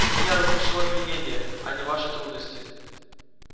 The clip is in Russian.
меня рассмешило обвинение а не ваши трудности